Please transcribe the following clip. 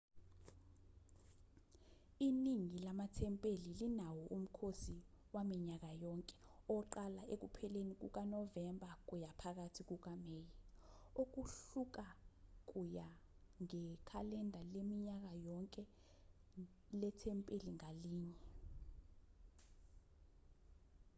iningi lamathempeli linawo umkhosi waminyaka yonke oqala ekupheleni kukanovemba kuya phakathi kukameyi okuhluka kuya ngekhalenda laminyaka yonke lethempeli ngalinye